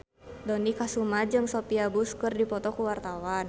Dony Kesuma jeung Sophia Bush keur dipoto ku wartawan